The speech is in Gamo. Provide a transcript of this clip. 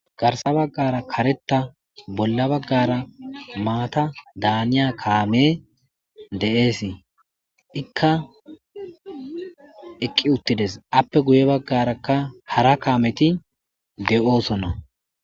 Garsa baggara kareta bolla baggara maata daaniya kaame de7eesii ikka eqqi uttides appe guye baggarakka hara kaameti de7oosonna.